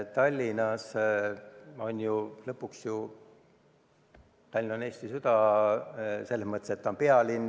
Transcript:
Tallinn on lõpuks ju Eesti süda – selles mõttes, et ta on pealinn.